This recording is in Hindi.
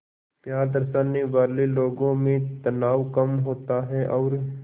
प्यार दर्शाने वाले लोगों में तनाव कम होता है और